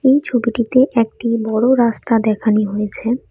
এই ছবিটিতে একটি বড় রাস্তা দেখানি হয়েছে।